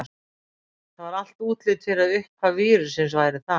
Það var allt útlit fyrir að uppaf vírussins væri þar.